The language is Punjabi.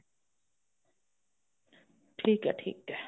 ਠੀਕ ਐ ਠੀਕ ਐ